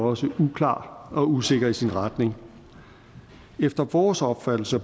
også uklar og usikker i sin retning efter vores opfattelse